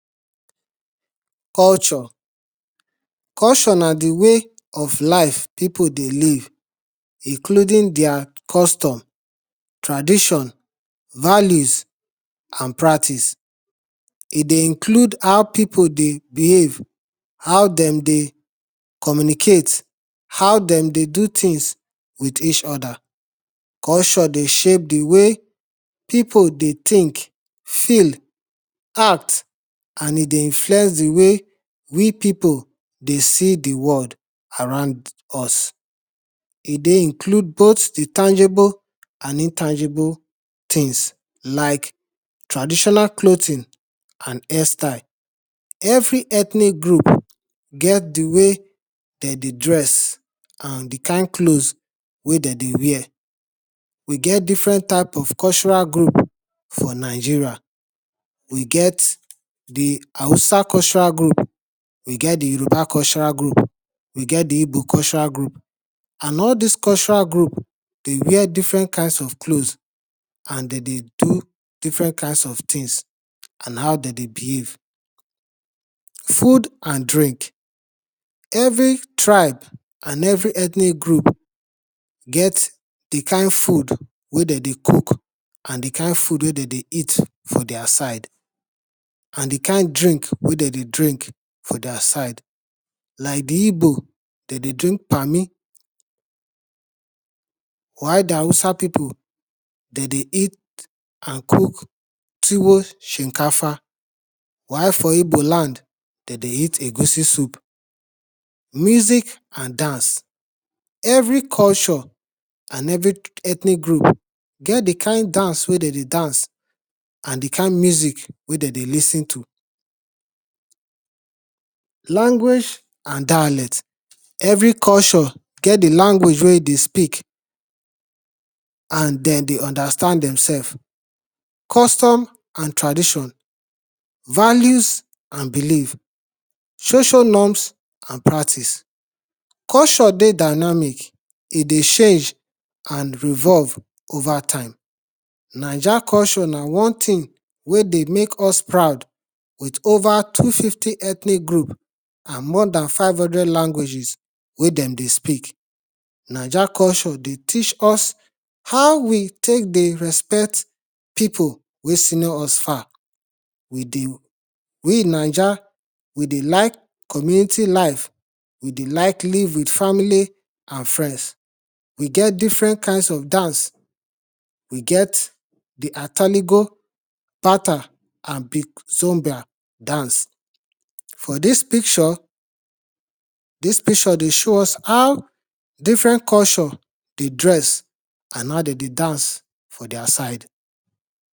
Culture, culture na di way of life pipu dey live including their custom, traditions, values and practices. E dey include how pipu dey behave, how de dey communicate how dem dey do things with each other.culture dey shape di way pipu dey think, feel, act, and e dey influence di way we pipu dey see di world around us. E dey include both di tangible and intangible things like traditional clothing and hair style. Every ethnic group get di way den dey dress and di kind cloth wey den dey wear. E get different type of cultural group for Nigeria. We get di hausa cultural group, we get di youruba cultural group, we get di igbo cultural group. And all dis cultural group dey wear different kinds of cloth and de dey do different kinds of thinks and how de dey behave. Food and drink every tribe and every ethnic group, get di kind food wey de dey cook and di kind food wey de dey eat for their side. And di kind drink wey de dey drink for their side like di igbo de dey drink pami, while di hausa pipu de dey eat and cook tuwo shinkafa, while for igbo land, de dey at egusi soup. Music and dance, every culture and every ethnic group get di kind dance wey de dey dance and di kind music wey de dey lis ten to. language and dialect, every culture get di way wey e dey speak and dem dey understand dem selves. Custom and tradition, values and believes social norms and practices. Culture ey dynamic, e dey change and evolve over time. Ninja culture na wan thing wey dey mek us proud with over two- fifty ethnic group and ore dan five hundred languages wey de dey speak. Ninja culture dey teach us how we tek dey respect pipu wey senior us far. We ninja we dey like live with family and friends, we get different kinds of dance, we get di atanigo pattern and zonga dance. For dia picture, dis picture dey show us ow different culture dey dress and how de dey dance for their side.